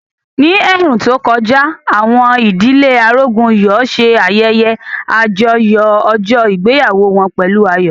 Ní ẹ̀ẹ̀rùn tó kọjá, àwọn ìdílé Arógunyọ̀ ṣe ayẹyẹ àjọyọ̀ ọjọ́ ìgbéyàwó wọn pẹ̀lú ayọ̀